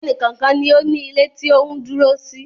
Ẹnì kọ̀ọ̀kan ni ó ní ilé tí ó ń dúró sí